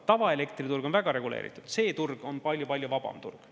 Tavaelektriturg on väga reguleeritud, see turg on palju-palju vabam turg.